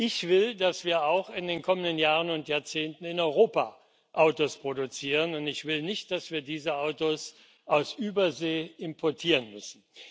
Ich will, dass wir auch in den kommenden Jahren und Jahrzehnten in Europa Autos produzieren, und ich will nicht, dass wir diese Autos aus Übersee importieren müssen.